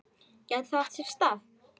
Gæti það átt sér stað?